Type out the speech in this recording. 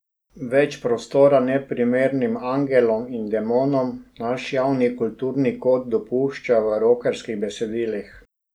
Več prostora neprimernim angelom in demonom naš javni kulturni kod dopušča v rokerskih besedilih.